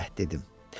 Səhv dedim.